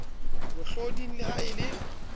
mohloding le ha e le